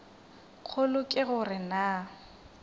kgolo ke go re na